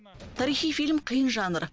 тарихи фильм қиын жанр